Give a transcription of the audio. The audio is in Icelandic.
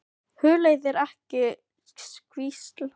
Hugleiðir ekki hvísl fólksins eftir fæðinguna.